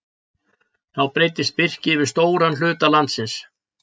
Þá breiddist birki yfir stóran hluta landsins.